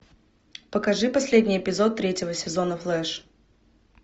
покажи последний эпизод третьего сезона флэш